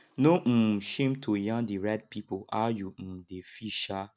no um shame to yarn di right pipo how you um dey feel um